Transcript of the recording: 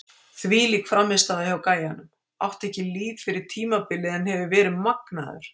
Þvílík frammistaða hjá gæjanum, átti ekki líf fyrir tímabilið en hefur verið magnaður!